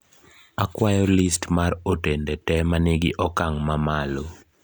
akwayo list mar otende te manigi okang` mamalo